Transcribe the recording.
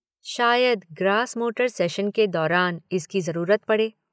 शायद gross motor session के दौरान इसकी जरूरत पड़े।